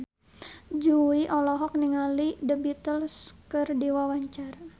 Jui olohok ningali The Beatles keur diwawancara